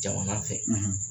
Jama man fɛ